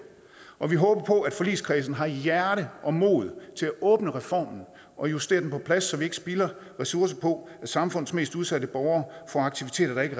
og vi håber på at forligskredsen har hjerte og mod til at åbne reformen og justere den på plads så vi ikke spilder ressourcer på at samfundets mest udsatte borgere får aktiviteter der ikke